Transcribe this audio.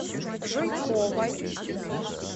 жуйковой